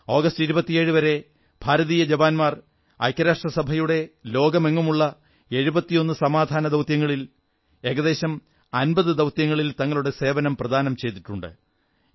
August 27 വരെ ഭാരതീയ ജവാന്മാർ ഐക്യരാഷ്ട്രസഭയുടെ ലോകമെങ്ങുമുള്ള 71 സമാധാനദൌത്യങ്ങളിൽ ഏകദേശം 50 ദൌത്യങ്ങളിൽ തങ്ങളുടെ സേവനം പ്രദാനം ചെയ്തിട്ടുണ്ട്